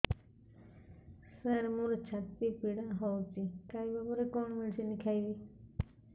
ସାର ମୋର ଛାତି ପୀଡା ହଉଚି ଖାଇବା ପରେ କଣ ମେଡିସିନ ଖାଇବି